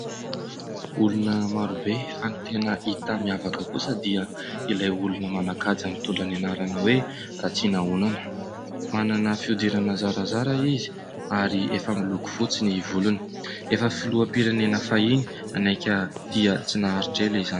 Olona marobe fa ny tena hita miavaka kosa dia ilay olona manan-kaja mitondra ny anarana hoe Ratsirahonana. Manana fihodirana zarazara izy ary efa miloko fotsy ny volony. Efa filoham-pirenena fahiny naika dia tsy naharitra ela izany.